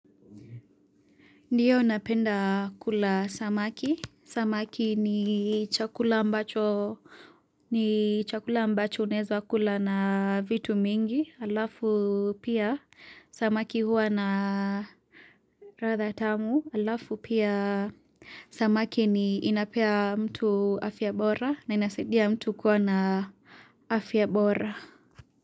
Ndio napenda kula samaki, samaki ni chakula ambacho unaweza kula na vitu mingi, halafu pia samaki huwa na radha tamu, halafu pia samaki ni inapea mtu afya bora na inasidia mtu kuwa na afya bora.